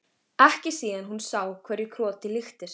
Ekki síðan hún sá hverju krotið líktist.